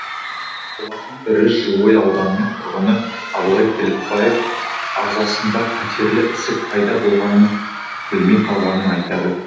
солардың бірі жылыой ауданының тұрғыны абылай тілепбаев ағзасында қатерлі ісік пайда болғанын білмей қалғанын айтады